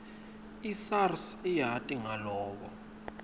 isars iyati ngaloko